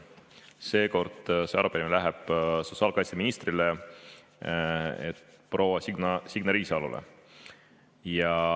Seekord see arupärimine läheb sotsiaalkaitseministrile proua Signe Riisalole.